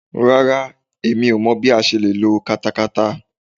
Rárá, Èmi ò mọ bí a ṣe le ló katakata.